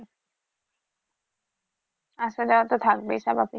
আসা যাওয়া তো থাকবেই স্বাভাবিক